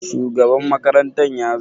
Shugaban makaranta ya zo?